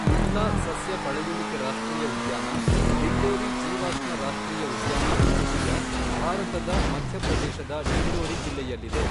ಮಂಡ್ಲಾ ಸಸ್ಯ ಪಳೆಯುಳಿಕೆ ರಾಷ್ಟ್ರೀಯ ಉದ್ಯಾನ, ದಿಂಡೋರಿ ಜೀವಾಶ್ಮ ರಾಷ್ಟ್ರೀಯ ಉದ್ಯಾನ ಘುಘುಯಾ ಭಾರತದ ಮಧ್ಯಪ್ರದೇಶದ ಡಿಂಡೋರಿ ಜಿಲ್ಲೆಯಲ್ಲಿದೆ.